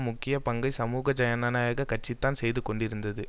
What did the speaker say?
முக்கிய பங்கை சமூக ஜனநாயக கட்சிதான் செய்து கொண்டிருந்தது